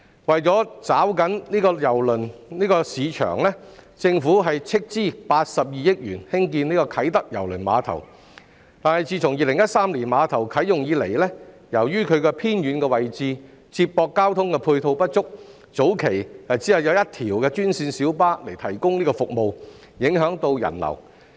為抓緊郵輪旅遊市場，政府斥資82億元興建啟德郵輪碼頭，但自2013年碼頭啟用以來，由於其位置偏遠，接駁交通配套不足，早期只有一條專線小巴提供服務，影響人流。